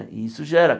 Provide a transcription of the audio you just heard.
E isso gera.